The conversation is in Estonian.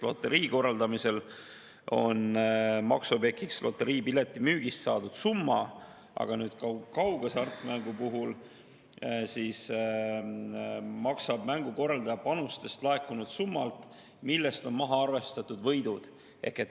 Loterii korraldamisel on maksuobjektiks loteriipileti müügist saadud summa, aga kaughasartmängu puhul maksab mängukorraldaja panustest laekunud summalt, millest on maha arvestatud võidud.